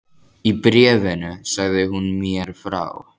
Í bréfunum sagði hún mér frá